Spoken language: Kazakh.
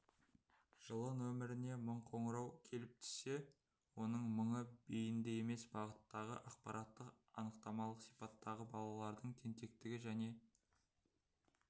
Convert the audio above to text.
жылы нөміріне мың қоңырау келіп түссе оның мыңы бейінді емес бағыттағы ақпараттық-анықтамалық сипаттағы балалардың тентектігі және